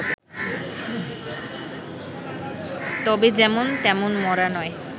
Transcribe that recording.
তবে যেমন তেমন মরা নয়